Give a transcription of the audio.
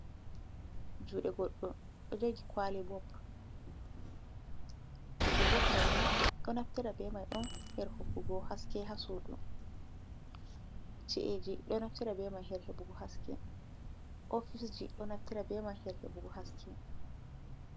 Juɗe goɗɗon ɗojogi kwali bob nfi bo maini ɗo nafitara ɓe mai ɗon herhokugo haske hasudu cieji ɗonnfitbmhereɓug haske ofisji ɗo nafitr ɓe mai herhe ɓugu haske.